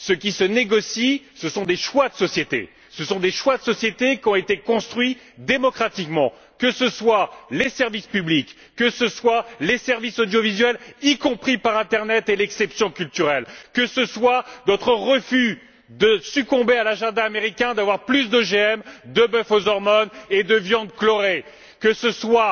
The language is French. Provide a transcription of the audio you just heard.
Ce qui se négocie, ce sont des choix de société, qui ont été construits démocratiquement que ce soient les services publics, que ce soient les services audiovisuels, y compris par internet et l'exception culturelle, que ce soit votre refus de succomber à l'agenda américain qui prévoit plus d'OGM, de boeuf aux hormones et de viande chlorée, que ce soit